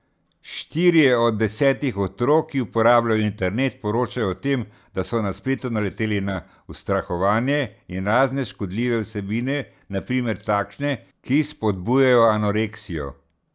Štirje od desetih otrok, ki uporabljajo internet, poročajo o tem, da so na spletu naleteli na ustrahovanje in razne škodljive vsebine, na primer takšne, ki spodbujajo anoreksijo.